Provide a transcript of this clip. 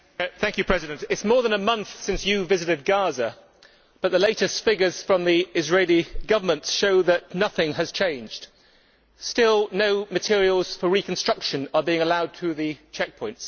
Mr President, it is more than a month since you visited Gaza, but the latest figures from the Israeli Government show that nothing has changed still no materials for reconstruction are being allowed through the checkpoints